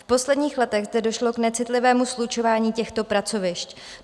V posledních letech zde došlo k necitlivému slučování těchto pracovišť.